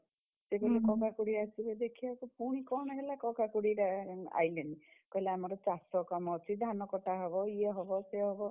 ସିଏ କହିଲେ କକା ଖୁଡୀ ଆସିବେ ଦେଖିଆକୁ, ପୁଣି କଣ ହେଲା କକା ଖୁଡୀ ଆ ଆଇଲେନି? କହିଲେ ଆମର ଚାଷ କାମ ଅଛି ଧାନ କଟା ହବ ଇଏ ହବ ସିଏ ହବ।